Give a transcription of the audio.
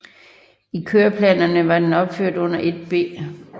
I køreplanerne var den opført under 1B